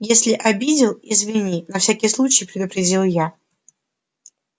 если обидел извини на всякий случай предупредил я